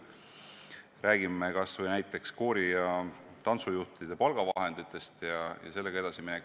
Räägime kas või koori- ja tantsujuhtide palgasummadega edasiminekust.